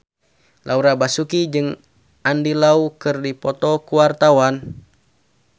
Laura Basuki jeung Andy Lau keur dipoto ku wartawan